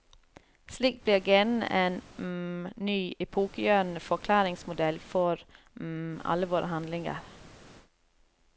Slik blir genene en ny, epokegjørende forklaringsmodell for alle våre handlinger.